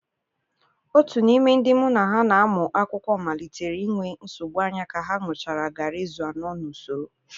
Otu n'ime ndị mụ na ya na-amụ akwụkwọ malitere inwe nsogbu anya ka ha ṅụchara garri izu anọ n'usoro.